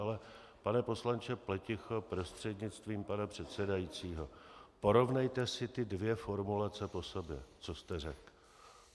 Ale pane poslanče Pleticho prostřednictvím pana předsedajícího, porovnejte si ty dvě formulace po sobě, co jste řekl.